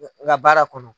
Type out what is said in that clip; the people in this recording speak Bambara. N ka baara kɔnɔ